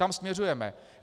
Tam směřujeme.